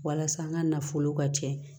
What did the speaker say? Walasa an ka nafolo ka jɛ